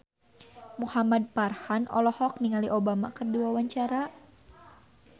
Muhamad Farhan olohok ningali Obama keur diwawancara